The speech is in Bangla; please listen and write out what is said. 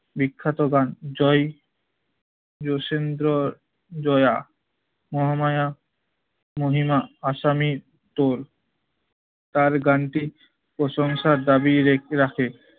বিখ্যাত গান জয়, জোসেন্দ্র, জয়া, মহামায়া, মহিমা, আসামি টোল তার গানটি প্রশংসার দাবি রেখে রাখে।